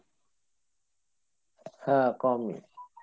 হ্যাঁ কমই